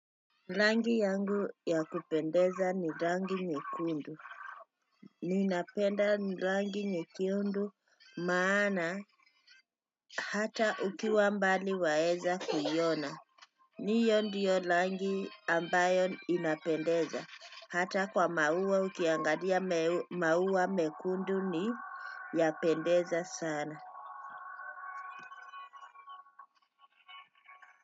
Rangi yangu ya kupendeza ni rangi nyekundu ninapenda rangi nyekundu maana hata ukiwa mbali waeza kuiona. Hiyoo ndiyo rangi ambayo inapendeza hata kwa maua ukiangalia maua mekundu ni yapendeza sana.